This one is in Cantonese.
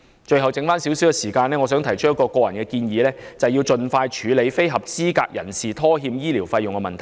最後剩下少許時間，我想提出一項個人建議，便是盡快處理非合資格人士拖欠醫療費用的問題。